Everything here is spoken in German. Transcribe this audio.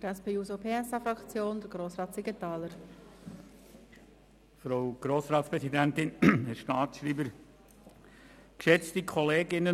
Für die SP-JUSO-PSA-Fraktion spricht Grossrat Siegenthaler.